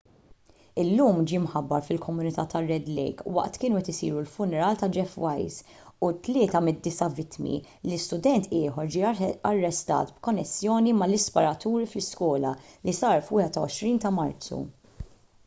illum ġie mħabbar fil-komunità tar-red lake waqt kienu qed isiru l-funerali ta' jeff weise u tlieta mid-disa' vittmi li student ieħor ġie arrestat b'konnessjoni mal-isparaturi fl-iskola li saru fil-21 ta' marzu